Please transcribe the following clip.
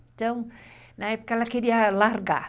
Então, na época ela queria largar.